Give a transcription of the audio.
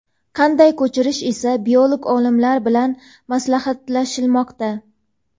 qanday ko‘chirish esa biolog olimlar bilan maslahatlashilmoqda.